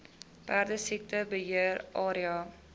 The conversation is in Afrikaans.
perdesiekte beheer area